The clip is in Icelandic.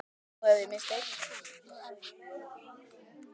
Nú hef ég misst einn.